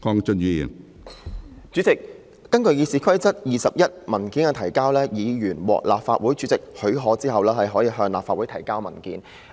主席，根據《議事規則》第21條"文件的提交"，"......議員獲立法會主席許可後，亦可向立法會提交文件。